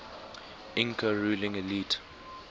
inca ruling elite